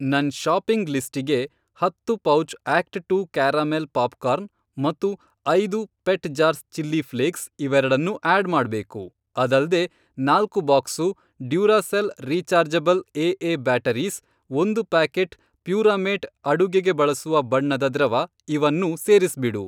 ನನ್ ಷಾಪಿಂಗ್ ಲಿಸ್ಟಿಗೆ ಹತ್ತು pouch act two caramel popcorn ಮತ್ತು ಐದು ಪೆಟ್ ಜಾರ್ಸ್ ಚಿಲ್ಲಿ ಫ಼್ಲೇಕ್ಸ್ ಇವೆರಡನ್ನೂ ಆಡ್ ಮಾಡ್ಬೇಕು. ಅದಲ್ದೇ, ನಾಲ್ಕು box Duracell rechargeable AA batteries, ಒಂದು ಪ್ಯಾಕೆಟ್ ಪ್ಯೂರಾಮೇಟ್ ಅಡುಗೆಗೆ ಬಳಸುವ ಬಣ್ಣದ ದ್ರವ ಇವನ್ನೂ ಸೇರಿಸ್ಬಿಡು.